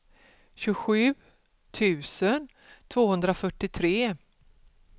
tjugosju tusen tvåhundrafyrtiotre